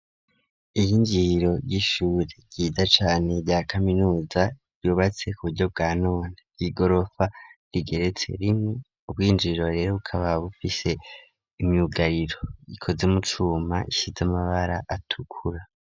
Iyi injiro ry'ishure ryiza cane rya kaminuza yubatse ku buryo bwa nona ryi gorofa rigeretse rimwe ubwinjiro rero bukaba bufise imyugariro ikoze umucuma ishize amabara atukura.